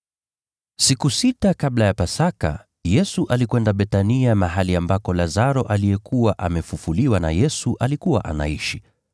Siku sita kabla ya Pasaka, Yesu alikwenda Bethania mahali ambako Lazaro aliyekuwa amefufuliwa na Yesu alikuwa anaishi.